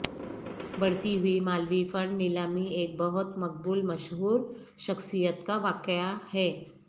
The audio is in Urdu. بڑھتی ہوئی مالوی فنڈ نیلامی ایک بہت مقبول مشہور شخصیت کا واقعہ ہے